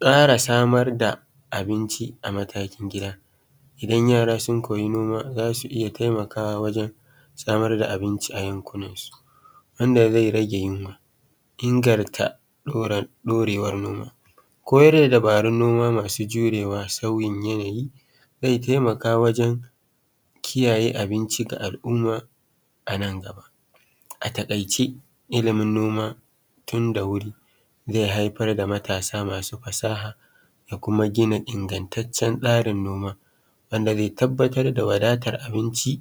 Ƙara samar da abincin a matakin gida idan yara sun koya noma za su iya taimakawa wajen samar da abinci a yankunan su wanda zai rage yinwa da inganta ɗaurewar noma. Koyar da dabarun noma masu jurewa sauyin yanayi zai taimaka wajen kiyaye qbinci ga al'umma a nan gaba. A takaice ilimin noma tunda wuri zai haifar da matasa masu fasaha da kuma hina ingantaccen tsarin noma wanda zai tabbatar da wadatar abinci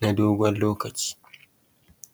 na dogon lokaci.